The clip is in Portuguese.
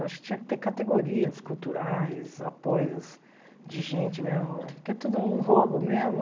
Eu acho que tinha que ter categorias culturais, apoios de gente mesmo, porque é tudo um roubo mesmo.